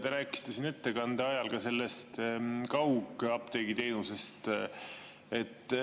Te rääkisite ettekande ajal ka sellest kaugapteegi teenusest.